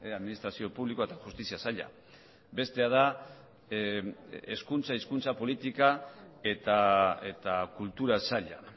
administrazio publikoa eta justizia saila bestea da hezkuntza hizkuntza politika eta kultura saila